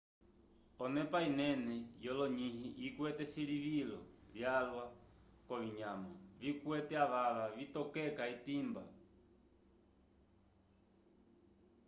onepa inene yolonyĩhi ikwete silivilo lyalwa k'ovinyama vikwete avava vitokeka etimba